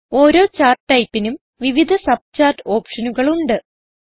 ഓരോ ചാർട്ട് ടൈപ്പിനും വിവിധ സബ് ചാർട്ട് ഓപ്ഷനുകൾ ഉണ്ട്